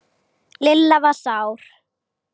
Lilla var sár.